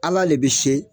Ala le bɛ se